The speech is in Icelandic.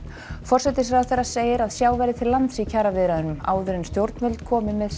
forsætisráðherra segir að sjá verði til lands í kjaraviðræðum áður en stjórnvöld komi með